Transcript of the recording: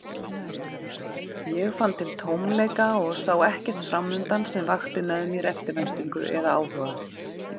Ég fann til tómleika og sá ekkert framundan sem vakti mér eftirvæntingu eða áhuga.